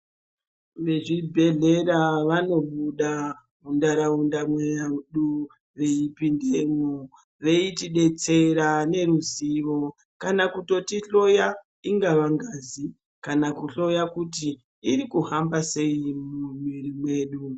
Vezvibhedhlera vanobuda muntauraunda mwedu veipindemwo, veitidetsera neruzivo kana kutotihloya, ingava ngazi kana kuhloya kuti irikuhamba sei mumwiri mwedu.